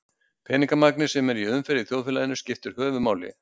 peningamagnið sem er í umferð í þjóðfélaginu skiptir höfuðmáli